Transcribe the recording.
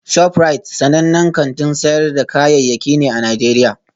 ShopRite sanannen kantin sayar da kayayyaki ne a Najeriya